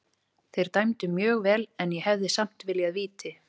Þeir dæmdu mjög vel en ég hefði samt viljað víti.